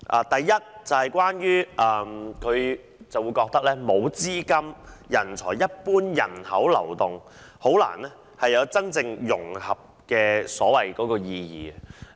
第一，他認為，沒有資金、人才及一般人口流動便難以達到融合的真正意義。